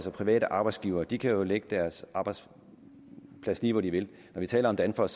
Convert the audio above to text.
og private arbejdsgivere at de kan lægge deres arbejdspladser lige hvor de vil når vi taler om danfoss